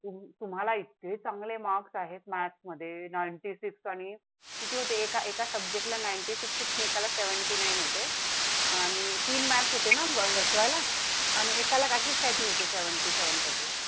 तुम्हाला इथे चांगले मार्क्स आहेत. maths मध्ये ninety six आणि होते एका एका subject ला ninety six उठून एका seventy nine होते आणि तीन maths होते एसवायला आणि एकला अशीच काही तर होती. seven seven thirty साठी